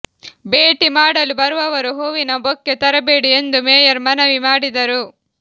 ಭೇಟಿ ಮಾಡಲು ಬರುವವರು ಹೂವಿನ ಬೊಕ್ಕೆ ತರಬೇಡಿ ಎಂದು ಮೇಯರ್ ಮನವಿ ಮಾಡಿದರು